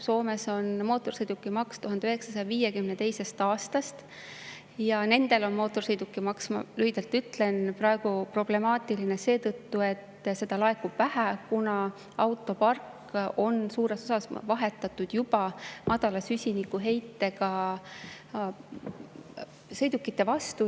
Soomes on mootorsõidukimaks 1952. aastast ja nendel on mootorsõidukimaks, lühidalt ütlen, praegu problemaatiline seetõttu, et seda laekub vähe, kuna autopark on suures osas juba vahetatud madala süsinikuheitega sõidukite vastu.